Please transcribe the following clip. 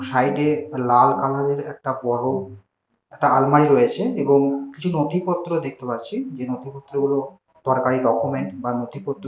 সাইডে লাল কালারের একটা বড়ো একটা আলমারি রয়েছে এবং কিছু নথিপত্র দেখতে পারছি যে নথিপত্রগুলো দরকারি ডকুমেন্ট বা নথিপত্র।